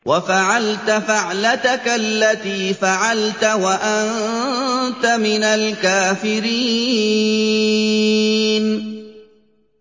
وَفَعَلْتَ فَعْلَتَكَ الَّتِي فَعَلْتَ وَأَنتَ مِنَ الْكَافِرِينَ